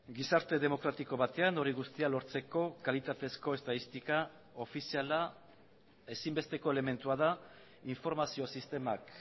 gizarte demokratiko batean hori guztia lortzeko kalitatezko estatistika ofiziala ezinbesteko elementua da informazio sistemak